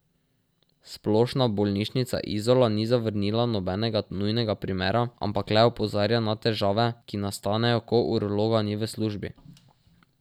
Splošna bolnišnica Izola ni zavrnila nobenega nujnega primera, ampak le opozarja na težave, ki nastanejo, ko urologa ni v službi.